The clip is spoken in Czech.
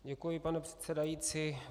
Děkuji, pane předsedající.